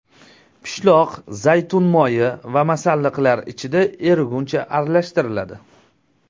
Pishloq, zaytun moyi va masalliqlar ichida eriguncha aralashtiriladi.